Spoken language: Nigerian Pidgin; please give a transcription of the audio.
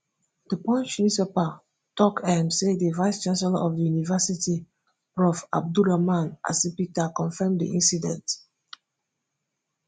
di punch newspaper tok um say di vice chancellor of di university prof abdulraman asipita confam di incident